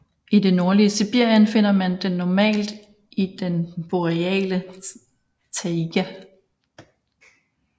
I det nordlige Sibirien finder man den normalt i den boreale taiga